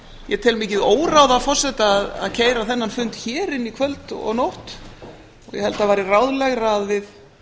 ég tel mikið óráð af forseta að keyra þennan fund hér inn í kvöld og nótt ég held að það væri ráðlegra að við